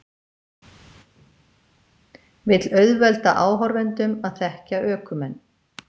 Vill auðvelda áhorfendum að þekkja ökumenn